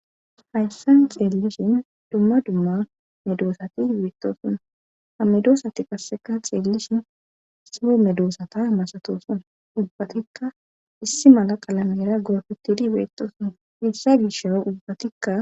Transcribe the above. Hayssa xeellishin dumma dumma medoosati beettosuna hamidoosati qasseka xeellishin sie medoosata masatosuna ubbatikka issi mala qalamera gorfetidi beettosuna hessa gisha ubbatikka.